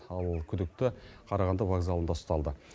ал күдікті қарағанды вокзалында ұсталды